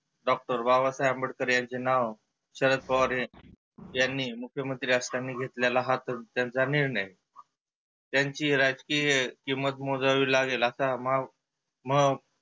doctor Babasaheb Ambedkar यांचे नाव शरद पवार हे यांनी मुख्यमंत्री असतानी घेतलेला त्यांचा निर्णय. त्यांची राजकिय किंमत मोजावी लागेल असा भाव मग